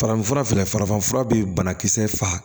Farafinfura filɛ farafin fura bɛ banakisɛ faga